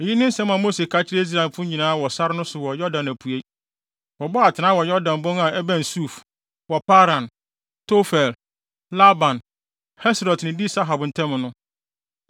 Eyi ne nsɛm a Mose ka kyerɛɛ Israelfo nyinaa wɔ sare no so wɔ Yordan apuei. Wɔbɔɔ atenae wɔ Yordan bon a ɛbɛn Suf, wɔ Paran, Tofel, Laban, Haserot ne Di-Sahab ntam no.